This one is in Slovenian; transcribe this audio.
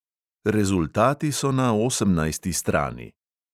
Rezultati so na osemnajsti strani.